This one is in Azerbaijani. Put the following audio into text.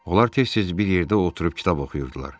Onlar tez-tez bir yerdə oturub kitab oxuyurdular.